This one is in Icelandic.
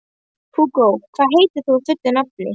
Hugó, hvað heitir þú fullu nafni?